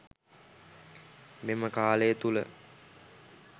මෙම කාලය තුළ